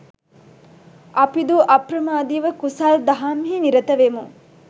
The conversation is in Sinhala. අපිදු අප්‍රමාදිව කුසල් දහම්හි නිරත වෙමු.